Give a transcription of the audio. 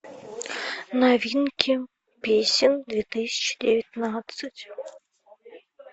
новинки песен две тысячи девятнадцать